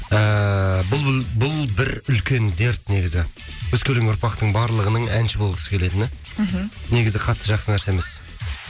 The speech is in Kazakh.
ііі бұл бұл бір үлкен дерт негізі өскелең ұрпақтың барлығының әнші болғысы келетіні мхм негізі катты жақсы нәрсе емес